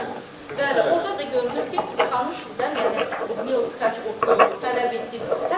Bəli, orda da görünür ki, xanım sizdən, yəni Lyudmila Tkaç o pulu tələb etdi.